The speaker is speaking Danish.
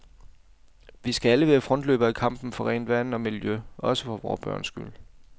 Vi skal alle være frontløbere i kampen for rent vand og miljø, også for vore børns skyld.